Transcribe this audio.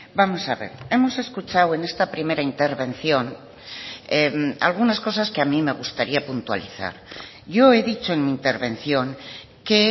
vamos a ver hemos escuchado en esta primera intervención algunas cosas que a mí me gustaría puntualizar yo he dicho en mi intervención que